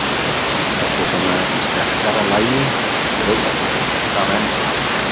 Þetta er svona í sterkara lagi, ég veit það vel, en það venst.